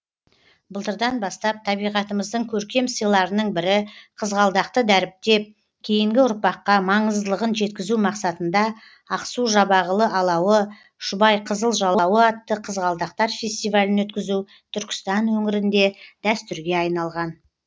былтырдан бастап табиғатымыздың көркем сыйларының бірі қызғалдақты дәріптеп кейінгі ұрпаққа маңыздылығын жеткізу мақсатында ақсу жабағылы алауы шұбайқызыл жалауы атты қызғалдақтар фестивалін өткізу түркістан өңірінде дәстүрге айналған